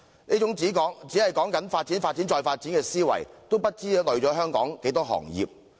這種只講求發展、發展、再發展的思維，不知拖累了香港多少行業。